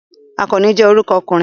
Akanni je oruko okunrin